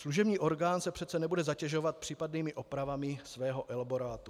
Služební orgán se přece nebude zatěžovat případnými opravami svého elaborátu.